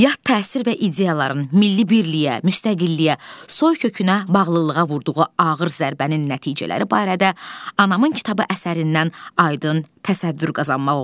Yad təsir və ideyaların, milli birliyə, müstəqilliyə, soykökünə bağlılığa vurduğu ağır zərbənin nəticələri barədə anamın kitabı əsərindən aydın təsəvvür qazanmaq olur.